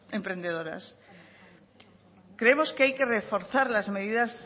emprendedoras creemos que hay que reforzar las medidas